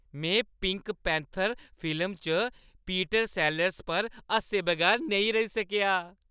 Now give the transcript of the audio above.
में Pink Panther फिल्मा च पीटर सेलर्स पर हस्से बगैर नेईं रेही सकेआ।